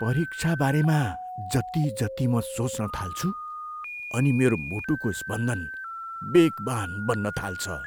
परिक्षाबारेमा जति जति म सोच्न थाल्छु अनि मेरो मुटुको स्पन्दन बेगवान् बन्न थाल्छ।